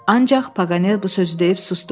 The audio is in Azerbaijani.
Ancaq Paganel bu sözü deyib susdu.